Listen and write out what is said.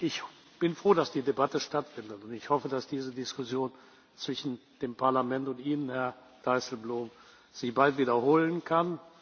Ich bin froh, dass die Debatte stattfindet, und ich hoffe, dass diese Diskussion zwischen dem Parlament und Ihnen, Herr Dijsselbloem, sich bald wiederholen